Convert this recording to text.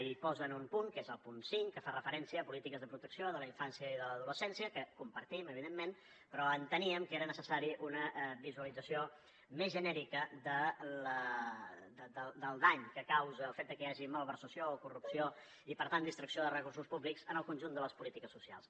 hi posen un punt que és el punt cinc que fa referència a polítiques de protecció de la infància i de l’adolescència que compartim evidentment però que enteníem que era necessària una visualització més genèrica del dany que causa el fet de que hi hagi malversació o corrupció i per tant distracció de recursos públics en el conjunt de les polítiques socials